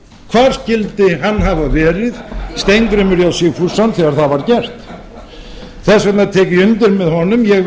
hvar skyldi hann hafa verið steingrímur j sigfússon þegar það var gert þess vegna tek ég undir með honum ég